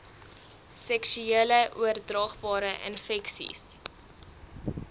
seksuele oordraagbare infeksies